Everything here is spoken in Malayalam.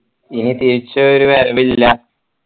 ഇനി തിരിച്ചൊരു വരവില്ല